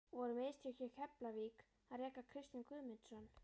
Voru mistök hjá Keflavík að reka Kristján Guðmundsson?